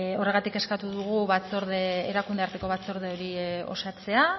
horregatik eskatu dugu erakunde arteko batzorde hori osatzea